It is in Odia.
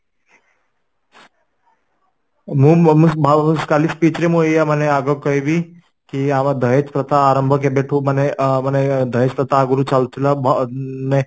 ହଁ ମୁଁ କଲି speech ରେ ଏଇୟା ଆଜି କହିବି କି ଆମ ଦହେଜ ପ୍ରଥା ଆରମ୍ଭ କେଭେଁଠୁ ମାନେ ଆଁ ମାନେ ଦହେଜ ପ୍ରଥା ଆଗରୁ ଚାଲୁଥିଲା ନେ